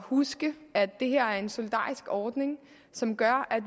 huske at det her er en solidarisk ordning som gør at